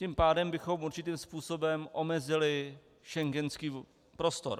Tím pádem bychom určitým způsobem omezili schengenský prostor.